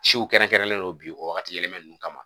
Siw kɛrɛnkɛrɛnlen don bi o wagati yɛlɛma ninnu kama